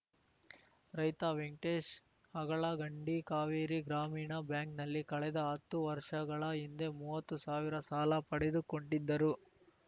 ರೈತ ವೆಂಕಟೇಶ್‌ ಅಗಳಗಂಡಿ ಕಾವೇರಿ ಗ್ರಾಮೀಣ ಬ್ಯಾಂಕ್‌ನಲ್ಲಿ ಕಳೆದ ಹತ್ತು ವರ್ಷಗಳ ಹಿಂದೆ ಮೂವತ್ತು ಸಾವಿರ ಸಾಲ ಪಡೆದುಕೊಂಡಿದ್ದರು